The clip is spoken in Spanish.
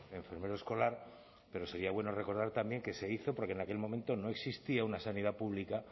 enfermero escolar pero sería bueno recordar también que se hizo porque en aquel momento no existía una sanidad pública